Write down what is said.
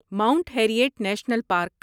Mount Harriet National park